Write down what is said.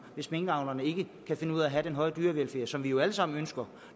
hvis minkavlerne ikke kan finde ud af at have den høje dyrevelfærd som vi jo alle sammen ønsker